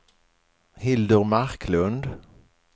Hildur Marklund